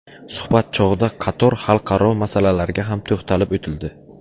Suhbat chog‘ida qator xalqaro masalalarga ham to‘xtalib o‘tildi.